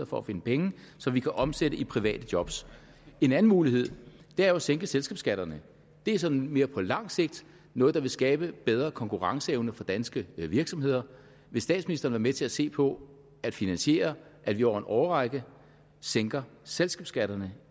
for at finde penge som vi kan omsætte i private job en anden mulighed er jo at sænke selskabsskatterne det er sådan mere på lang sigt noget der vil skabe bedre konkurrenceevne for danske virksomheder vil statsministeren være med til at se på at finansiere at vi over en årrække sænker selskabsskatterne